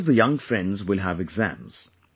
Most of the young friends will have exams